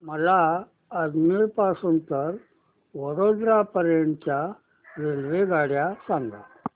मला अजमेर पासून तर वडोदरा पर्यंत च्या रेल्वेगाड्या सांगा